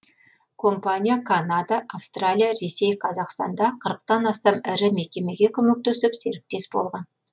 компания канада австралия ресей қазақстанда қырықтан астам ірі мекемеге көмектесіп серіктес болған